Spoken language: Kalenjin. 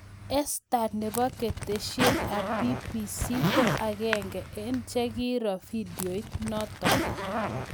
Esther nebo keteshet ab BBC ko agenge eng chekiiro vidiot notok